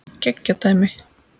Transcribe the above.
Geggjað dæmi.